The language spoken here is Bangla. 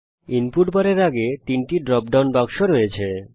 ইনপুট বারের আগে 3টি ড্রপ ডাউন বাক্স আছে